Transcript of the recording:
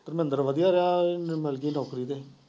ਧਰਮਿੰਦਰ ਵਧੀਆ ਰਿਹਾ ਇੰਨੂ ਮਿਲ ਗਈ ਨੌਕਰੀ ਤੇ।